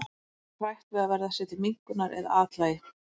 Fólk er hrætt við að verða sér til minnkunar eða að athlægi.